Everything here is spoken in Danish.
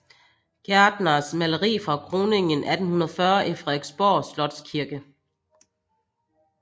Gertners maleri fra kroningen 1840 i Frederiksborg Slotskirke